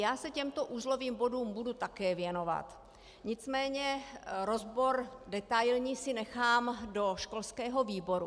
Já se těmto uzlovým bodům budu také věnovat, nicméně rozbor detailní si nechám do školského výboru.